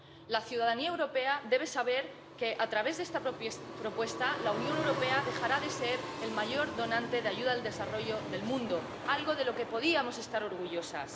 La ciudadanía europea debe saber que, a través de esta propuesta, la Unión Europea dejará de ser el mayor donante de ayuda al desarrollo del mundo, algo de lo que podíamos estar orgullosas.